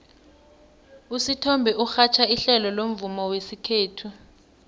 usithombe urhatjha ihlelo lomvumo wesikhethu